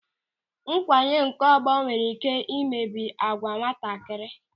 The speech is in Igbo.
Nkwanye nke ọgbọ nwere ị́ké imebi agwa nwatakịrị.